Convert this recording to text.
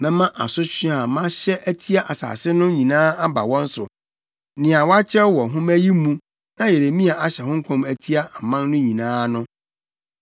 “Mɛma asotwe a mahyɛ atia asase no nyinaa aba wɔn so, nea wɔakyerɛw wɔ nhoma yi mu na Yeremia ahyɛ ho nkɔm atia aman no nyinaa no.